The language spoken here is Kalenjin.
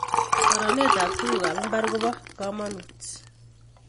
koronet ab tuguk ab mbar kobo kamangut